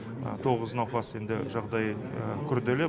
тоғыз науқас енді жағдайы күрделі